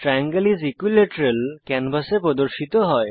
triangle is equilateral ক্যানভাসে প্রদর্শিত হয়